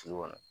Sulu kɔnɔ